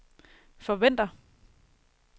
forventer